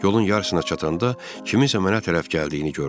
Yolun yarısına çatanda kiminsə mənə tərəf gəldiyini gördüm.